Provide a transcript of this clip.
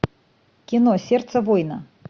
кино сердце воина